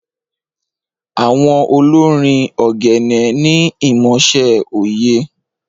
Awon olorin ogene ni imọṣẹ oye.